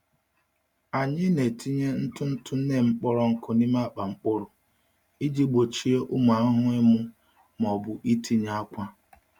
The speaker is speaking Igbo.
Anyị na-etinye ntụ ntụ neem kpọrọ nkụ n’ime akpa mkpụrụ iji gbochie ụmụ ahụhụ ịmụ ma ọ bụ itinye akwa.